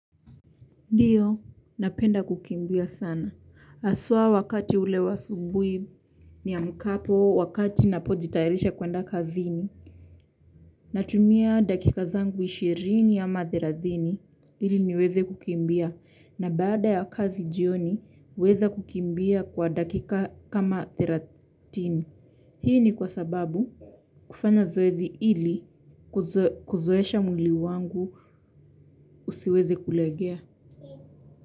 Ndiyo, napenda kukimbia sana. Haswa wakati ule wa asubuhi niamkapo wakati napojitayarisha kuenda kazi ni. Natumia dakika zangu ishirini ama thelathini ili niweze kukimbia na baada ya kazi jioni huweza kukimbia kwa dakika kama thelathini. Hii ni kwa sababu kufanya zoezi ili kuzoesha mwili wangu usiweze kulegea.